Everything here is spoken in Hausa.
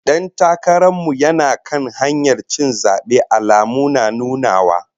Dan takaran mu yana kan hanyar cin zabe, alamu na nunawa